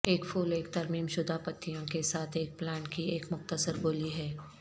ایک پھول ایک ترمیم شدہ پتیوں کے ساتھ ایک پلانٹ کی ایک مختصر گولی ہے